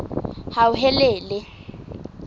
hauhelele